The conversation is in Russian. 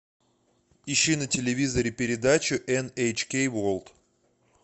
ищи на телевизоре передачу эн эйч кей ворлд